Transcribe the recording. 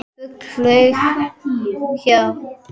Fugl flaug hjá.